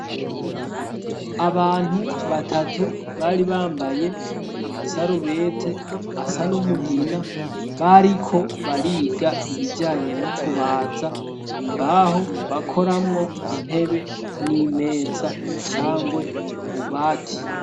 Abantu batatu bari bambaye amasarubete asa n'umugina bariko bariga ibijanye no kubaza imbaho bakoramwo intebe n'imeza cangwe ububati.